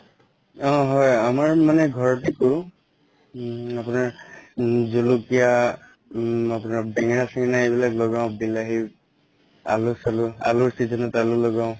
অ হয় আমাৰ মানে ঘৰতে কৰো উম আপোনাৰ উম জলকীয়া বেঙেনা চেঙেনা এইবিলাক লগাও বিলাহি আলু চালু অলুৰ season ত আলু লগাও